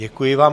Děkuji vám.